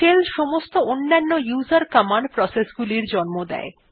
shell সমস্ত অন্যান্য উসের কমান্ড প্রসেস গুলি জন্ম দেয়